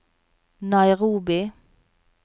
Nairobi